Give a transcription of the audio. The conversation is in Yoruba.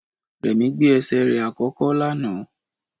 Rẹ̀mí gbé ẹsẹ̀ rẹ̀ àkọ́kọ́ lánàá